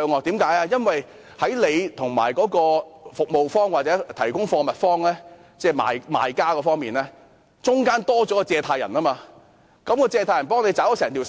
這是因為在消費者與服務方或提供貨物方——即是賣方——中間多了一位放債人，交易實際上是由放債人代為付款，